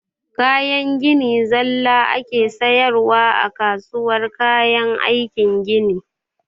Kayan gini zalla ake sayarwa a kasuwar kayan aikin gini